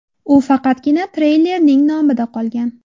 U faqatgina treylerning nomida qolgan.